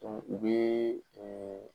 Dɔnku u bee ɛɛ